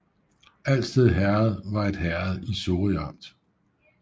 Alsted Herred var et herred i Sorø Amt